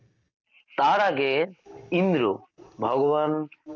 তার আগে ইন্দ্র ভগবান